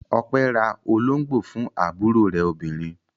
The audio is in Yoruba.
Ọpẹ́ ra olóńgbò fún àbúrò rẹ̀ obìnrin.